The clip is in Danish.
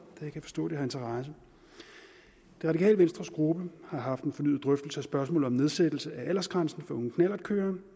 da jeg kan forstå at det har interesse det radikale venstres gruppe har haft en fornyet drøftelse af spørgsmålet om nedsættelse af aldersgrænsen for unge knallertkørere